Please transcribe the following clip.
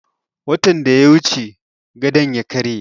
Watan da ya wuce gadon ya karye